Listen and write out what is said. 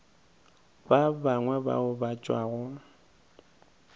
ba bangwe bao ba tšwago